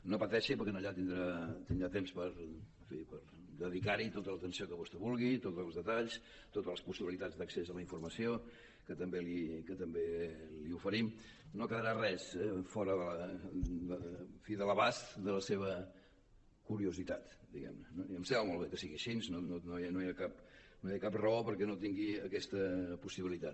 no pateixi perquè allà tindrà temps per en fi dedicar hi tota l’atenció que vostè vulgui tots els detalls totes les possibilitats d’accés a la informació que també li oferim no quedarà res fora en fi de l’abast de la seva curiositat diguem ne no i em sembla molt bé que sigui així no hi ha cap raó perquè no tingui aquesta possibilitat